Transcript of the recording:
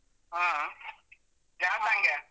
ಹಾ ಯಾವ್ song ಗೆ?